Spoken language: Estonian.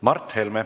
Mart Helme.